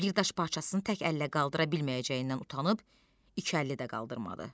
Bir daş parçasını tək əllə qaldıra bilməyəcəyindən utanıb iki əlli də qaldırmadı.